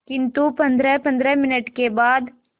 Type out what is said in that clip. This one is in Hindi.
किंतु पंद्रहपंद्रह मिनट के बाद